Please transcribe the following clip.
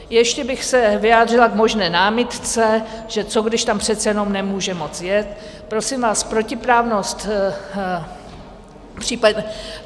Ještě bych se vyjádřila k možné námitce, že co když tam přece jenom nemůže moci jet - prosím vás, protiprávnost.